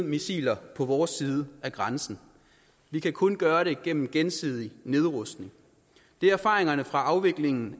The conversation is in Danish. missiler på vores side af grænsen vi kan kun gøre det gennem en gensidig nedrustning det er erfaringerne fra afviklingen